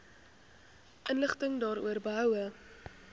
inligting daaroor behoue